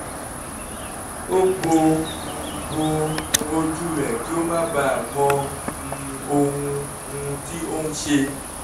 ó bo um bo um ojú rẹ̀ kí ó má baà mọ um ohun um tí ó ń ṣe